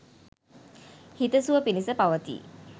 හිත සුව පිනිස පවතියි